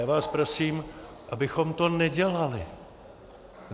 Já vás prosím, abychom to nedělali.